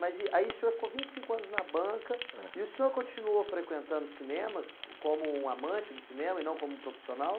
Mas aí o senhor ficou vinte e cinco anos na banca, eh, e o senhor continuou frequentando cinemas como um amante do cinema e não como um profissional?